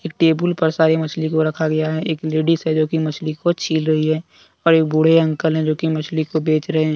Table पर सारी मछली को रखा गया है एक लेडिस है जोकि मछली को छील रही है और एक बूढ़े अंकल है जोकि मछली को बेच रहे हैं।